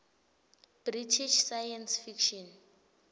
british science fiction